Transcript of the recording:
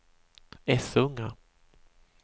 Essunga